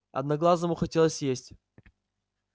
одноглазому хотелось есть